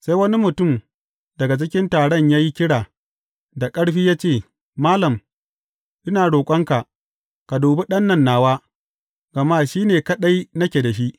Sai wani mutum daga cikin taron ya yi kira da ƙarfi ya ce, Malam, ina roƙonka, ka dubi ɗan nan nawa, gama shi ne kaɗai nake da shi.